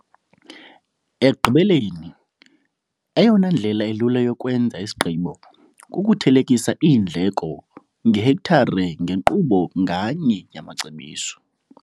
Ekugqibeleni, eyona ndlela ilula yokwenza isigqibo kukuthelekisa iindleko ngehektare ngenkqubo nganye yamacebiso.